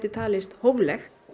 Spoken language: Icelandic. talist hófleg